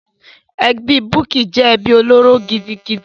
Ẹbí Bukky jẹ́ ẹbí olóró gidigidi.